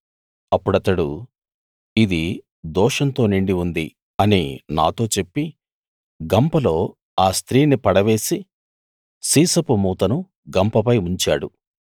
అప్పుడతడు ఇది దోషంతో నిండి ఉంది అని నాతో చెప్పి గంపలో ఆ స్త్రీని పడవేసి సీసపు మూతను గంపపై ఉంచాడు